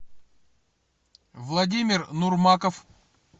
владимир нурмаков